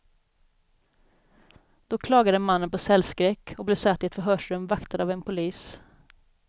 Då klagade mannen på cellskräck och blev satt i ett förhörsrum, vaktad av en polis.